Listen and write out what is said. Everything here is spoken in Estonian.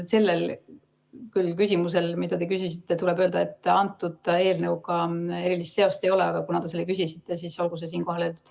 Sellel küsimusel, mida te küsisite, tuleb küll öelda, et eelnõuga erilist seost ei ole, aga kuna te küsisite, siis olgu see siinkohal öeldud.